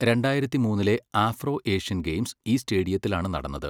രണ്ടായിരത്തി മൂന്നിലെ Afro Asian games ഈ സ്റ്റേഡിയത്തിലാണ് നടന്നത്.